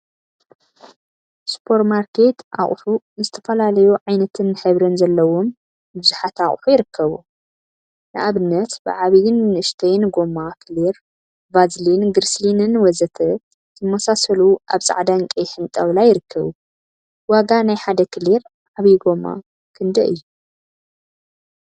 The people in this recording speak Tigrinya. ሱፐርማርኬት አቁሑ ዝተፈላለዩ ዓይነትን ሕብሪን ዘለዎም ቡዙሓት አቁሑ ይርከቡ፡፡ ንአብነት ብዓብይን ንእሽተይን ጎማ ክሊር፣ ቫዝሊን ግሪሰሊንን ወዘተ ዝመሳሰሉ አብ ፃዕዳን ቀይሕን ጣውላ ይርከቡ፡፡ ዋጋ ናይ ሓደ ክሊር ዓብይ ጎማ ክንደይ እዩ?